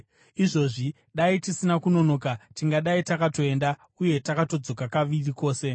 Izvozvi dai tisina kunonoka, tingadai takatoenda uye takatodzoka kaviri kwose.”